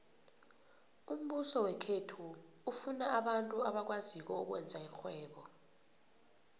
umbuso wekhethu ufuna abantu abakwaziko ukwenza irhwebo